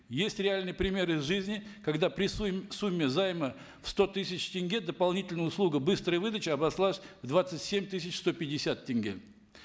есть реальный пример из жизни когда при сумме займа в сто тысяч тенге дополнительная услуга быстрая выдача обошлась в двадцать семь тысяч сто пятьдесят тенге